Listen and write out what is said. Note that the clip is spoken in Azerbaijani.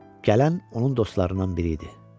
Gələn onun dostlarından biri idi.